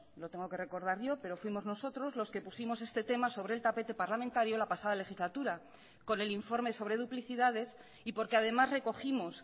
lo tengo que recordar yo pero fuimos nosotros los que pusimos este tema sobre el tapete parlamentario la pasada legislatura con el informe sobre duplicidades y porque además recogimos